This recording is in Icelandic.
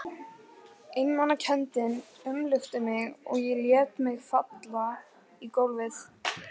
Einmanakenndin umlukti mig og ég lét mig falla í gólfið.